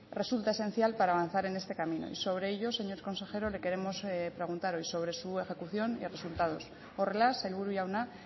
resulta esencial para avanzar en este camino y sobre ello señor consejero le queremos preguntar hoy sobre su ejecución y resultados horrela sailburu jauna